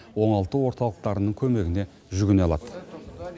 оңалту орталықтарының көмегіне жүгіне алады